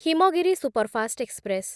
Himgiri superfast express